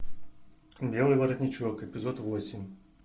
белый воротничок эпизод восемь